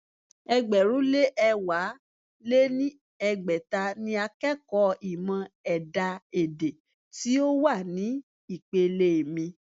ẹgbẹ̀rún lé ẹ̀wá lé ní ẹgbẹ́ta ni akẹ́kọ̀ọ́ ìmọ̀ ẹ̀dá-èdè tí ó wà ní ìpele mi.